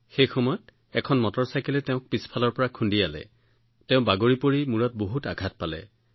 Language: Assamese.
সেই সময়ত এজন মটৰচাইকেল চালকে তেওঁক পিছফালৰ পৰা খুন্দা মাৰিছিল আৰু তেওঁ তৎক্ষণাৎ বাগৰি পৰিছিল যাৰ বাবে তেওঁ মূৰত গুৰুতৰ আঘাত পাইছিল